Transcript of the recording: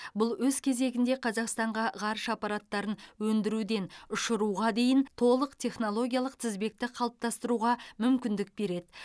бұл өз кезегінде қазақстанға ғарыш аппараттарын өндіруден ұшыруға дейін толық технологиялық тізбекті қалыптастыруға мүмкіндік береді